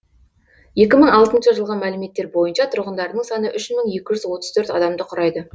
екі мың алтыншы жылғы мәліметтер бойынша тұрғындарының саны үш мың екі жүз отыз төрт адамды құрайды